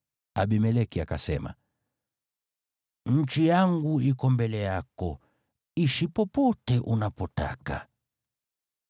Abimeleki akasema, “Nchi yangu iko mbele yako, ishi popote unapotaka.”